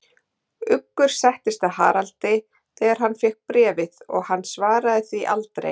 Uggur settist að Haraldi, þegar hann fékk bréfið, og hann svaraði því aldrei.